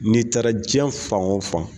N'i taara diɲɛ fan o fan